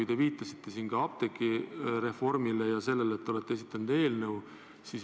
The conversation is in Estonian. Ja te viitasite siin apteegireformile ja sellele, et te olete esitanud eelnõu.